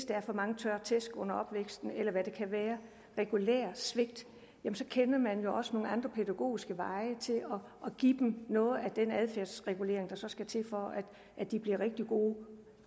der er for mange tørre tæsk under opvæksten eller hvad det kan være regulært svigt så kender man jo også nogle andre pædagogiske veje til at give dem noget af den adfærdsregulering der så skal til for at de bliver rigtig gode